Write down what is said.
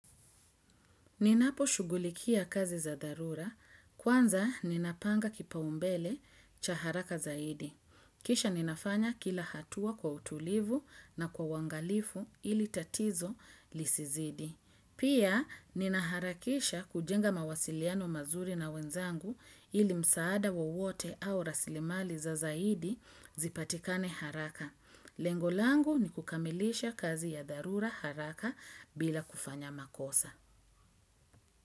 Ninaposhugulikia kazi za dharura. Kwanza ninapanga kipaumbele cha haraka zaidi. Kisha ninafanya kila hatua kwa utulivu na kwa uangalifu ili tatizo lisizidi. Pia ninaharakisha kujenga mawasiliano mazuri na wenzangu ili msaada wowote au raslimali za zaidi zipatikane haraka. Lengovlangu ni kukamilisha kazi ya dharura haraka bila kufanya makosa.